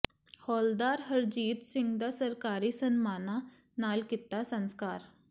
ਹੌਲਦਾਰ ਹਰਜੀਤ ਸਿੰਘ ਦਾ ਸਰਕਾਰੀ ਸਨਮਾਨਾਂ ਨਾਲ ਕੀਤਾ ਸੰਸਕਾਰ